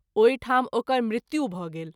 ओहि ठाम ओकर मृत्यु भ’ गेल।